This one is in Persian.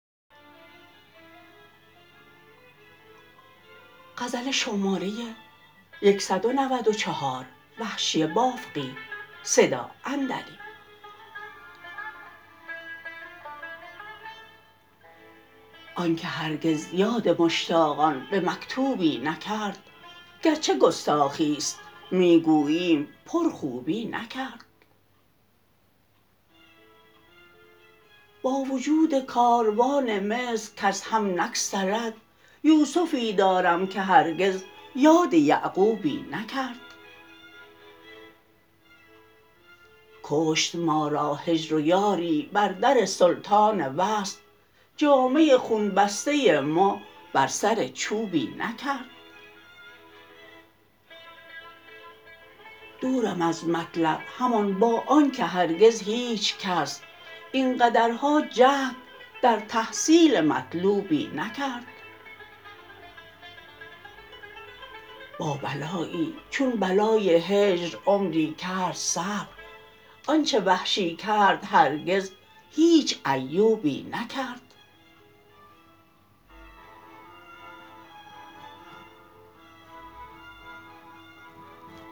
آنکه هرگز یاد مشتاقان به مکتوبی نکرد گرچه گستاخیست می گوییم پرخوبی نکرد با وجود کاروان مصر کز هم نگسلد یوسفی دارم که هرگز یاد یعقوبی نکرد کشت ما را هجر و یاری بر در سلطان وصل جامه خون بسته ما بر سر چوبی نکرد دورم از مطلب همان به آنکه هرگز هیچکس اینقدرها جهد در تحصیل مطلوبی نکرد با بلایی چون بلای هجر عمری کرد صبر آنچه وحشی کرد هرگز هیچ ایوبی نکرد